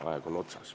Aeg on otsas.